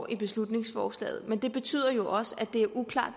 i beslutningsforslaget